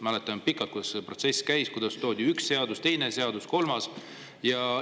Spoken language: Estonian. Mäletan, kuidas see pikk protsess käis, kuidas toodi üks, teine, kolmas.